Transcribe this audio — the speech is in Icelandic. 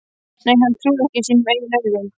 Nei, hann trúði ekki sínum eigin augum.